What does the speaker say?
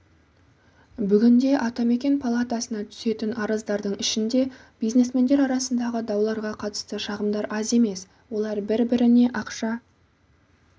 бүгінде атамекен палатасына түсетін арыздардың ішінде бизнесмендер арасындағы дауларға қатысты шағымдар аз емес олар бір-біріне ақша